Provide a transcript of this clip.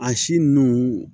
A si nunnu